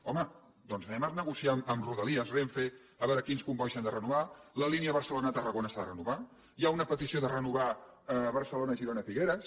home doncs anem a negociar amb rodalies renfe a veure quins combois s’han de renovar la línia barcelona tarragona s’ha de renovar hi ha una petició de renovar barcelona girona figueres